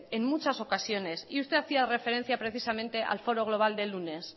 en muchas ocasiones y usted hacía referencia precisamente al foro global del lunes